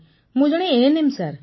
ମୁଁ ଜଣେ ANM sir